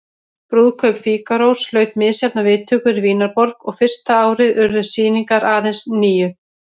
Brúðkaup Fígarós hlaut misjafnar viðtökur í Vínarborg og fyrsta árið urðu sýningar aðeins níu.